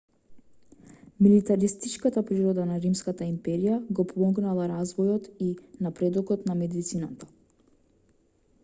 милитаристичката природа на римската империја го помогнала развојот и напредокот на медицината